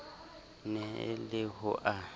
ne e le ho a